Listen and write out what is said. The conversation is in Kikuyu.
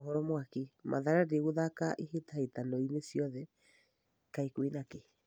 (Mohoro Mwaki) Mathare ndĩgũthaka ihĩtahĩtanoinĩ ciothe. Kaĩ kwĩna kĩ?